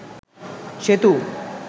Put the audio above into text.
সেতু